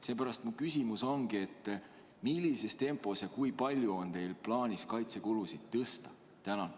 Seepärast mu küsimus ongi: millises tempos ja kui palju on teil plaanis kaitsekulusid tõsta?